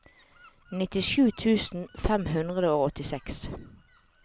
nittisju tusen fem hundre og åttiseks